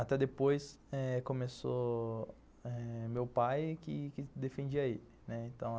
Até depois eh começou meu pai, que que defendia ele, né.